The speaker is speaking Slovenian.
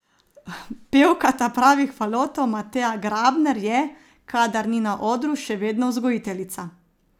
Pevka Tapravih falotov Mateja Grabner je, kadar ni na odru, še vedno vzgojiteljica.